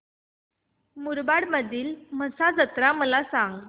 मुरबाड मधील म्हसा जत्रा मला सांग